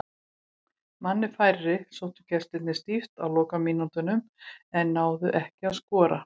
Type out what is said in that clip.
Manni færri sóttu gestirnir stíft á lokamínútunum en náðu ekki að skora.